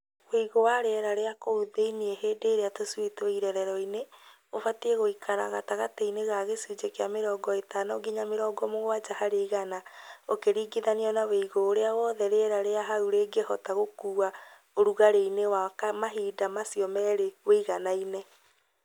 Uigũ wa rĩera rĩa kũu thĩinĩ hĩndĩ ĩrĩa tũcui twĩ irerero-inĩ ũbatiĩ gũikaraga gatagatĩ-inĩ ga gĩcũnjĩ kĩa mĩrongo ĩtano nginya mĩrongo mũgwanja harĩ igana ũkĩringithanio na ũigũ ũrĩa wothe rĩera rĩa hau rĩngĩhota gũkuua ũrugarĩ-ini wa mahinda macio merĩ ũiganaine.